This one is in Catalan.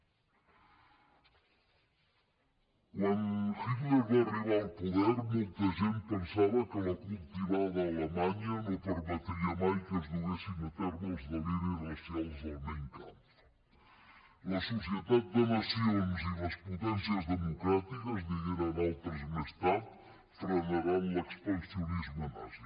quan hitler va arribar al poder molta gent pensava que la cultivada alemanya no permetria mai que es duguessin a terme els deliris racials del mein kampf la societat de nacions i les potencies democràtiques digueren altres més tard frenaran l’expansionisme nazi